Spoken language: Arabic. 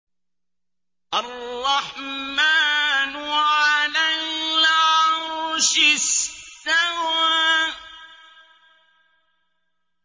الرَّحْمَٰنُ عَلَى الْعَرْشِ اسْتَوَىٰ